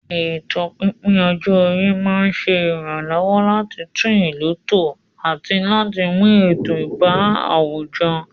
Ètò pípín ọjọ́ orí máa ń ṣe ìrànlọ́wọ́ láti tún ìlú tò àti láti mú ètò bá àwùjọ.